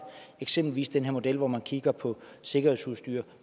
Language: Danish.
eksempelvis den her model hvor man kigger på sikkerhedsudstyr og